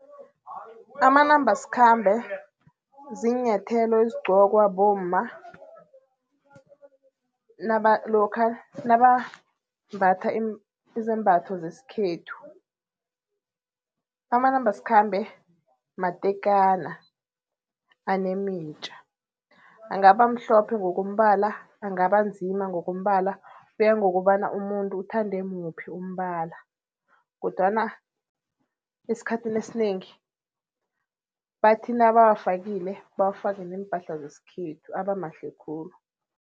Amanambasikhambe ziinyathelo ezigqokwa bomma lokha nabambatha izembatho zesikhethu. Amanambasikhambe matekana anemitja, angaba mhlophe ngokombala, angaba nzima ngokombala, kuya ngokobana umuntu uthande muphi umbala kodwana eskhathini esinengi bathi nabawafakile, bawafake neempahla zesikhethu abamahle khulu.